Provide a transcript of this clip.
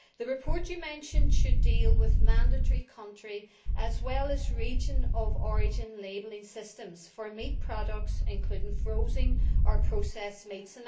The report you mentioned should deal with mandatory country as well as region of origin labelling systems for meat products, including frozen or processed meats.